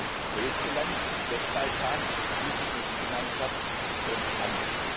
Das heißt, das größte Land auf dem Westbalkan führt die Energiegemeinschaft an.